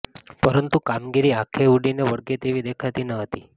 પરંતુ કામગીરી આંખે ઉડીને વળગે તેવી દેખાતી ન હતી